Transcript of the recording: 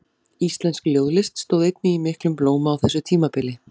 Íslensk ljóðlist stóð einnig í miklum blóma á þessu tímabili.